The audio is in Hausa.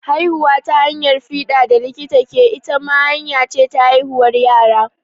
Haihuwa ta hanyar fiɗa da likita ke, ita ma hanya ce ta haihuwar yara.